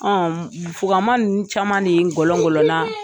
fuganma ninnu caman de ngɔlƆngƆlƆna